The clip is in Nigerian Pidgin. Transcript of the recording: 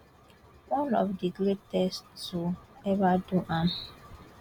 one of di greatest to ever do am